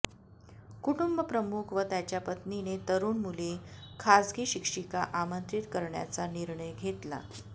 कुटुंब प्रमुख व त्याच्या पत्नीने तरुण मुली खाजगी शिक्षीका आमंत्रित करण्याचा निर्णय घेतला